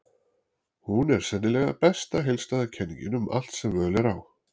Hún er sennilega besta heildstæða kenningin um allt sem völ er á.